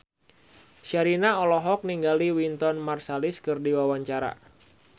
Sherina olohok ningali Wynton Marsalis keur diwawancara